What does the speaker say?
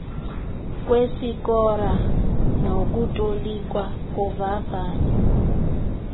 kwesikora nokutolikwa kovavanyo